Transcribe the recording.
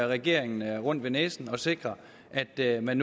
regeringen rundt ved næsen og sikre at at man